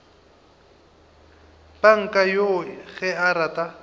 panka yoo ge a rata